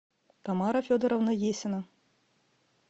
тамара федоровна есина